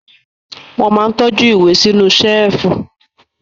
Wọ́n máa ń tọ́jú ìwé sínú ṣẹ́lífù.